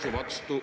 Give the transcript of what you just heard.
Teie aeg!